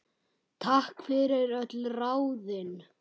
Takk fyrir öll ráðin.